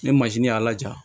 Ne mazinin y'a laja